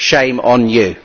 Shame on you!